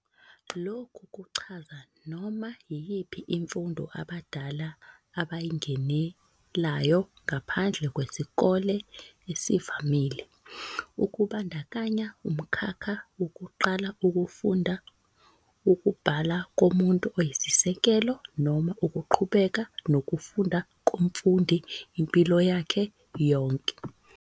Lokhu kuchaza noma yiyiphi imfundo abadala abayingenelayo ngaphandle kwesikole esivamile, okubandakanya umkhakha wokuqala ukufunda ukubhala komuntu okuyisisekelo noma ukuqhubeka nokufunda komfundi impilo yakhe yonke.